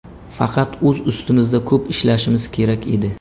Faqat o‘z ustimizda ko‘p ishlashimiz kerak edi.